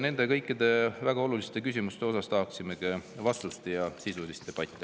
Me tahame kõikidele nendele väga olulistele küsimustele vastuseid ja sisulist debatti.